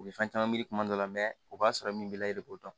U bɛ fɛn caman miri kuma dɔ la o b'a sɔrɔ min b'i la e de b'o dɔn